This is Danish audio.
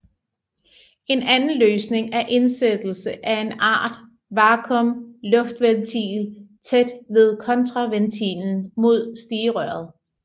En anden løsning er indsættelse af en art vakuum luftventil tæt ved kontraventilen mod stigerøret